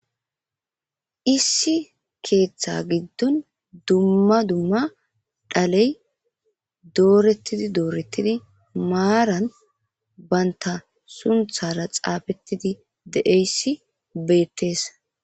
Issi keeththa giddon dumma dumma dhaley doorettidi doorettidi maaran baynta sunthara xaafettidi de7eyssi beettees.